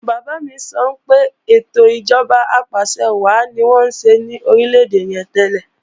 Bàbá mi sọ pé ètò ìjọba apàṣẹwàá ni wọ́n ń ṣe lórílè-èdè yẹn tẹ́lẹ̀